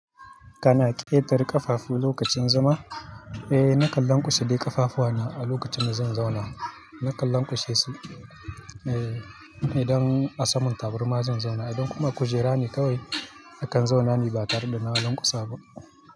Kana ƙetare ƙafafu lokacin zama? Eh, nakan lanƙwasa ƙafafuwa na a lokacin da zan zauna. Nakan lanƙwashesu. Eh, idan a saman tabarma zan zauna, idan kuma a kujera ne kawai nakan zauna ne ba tare da na lanƙwasa ba.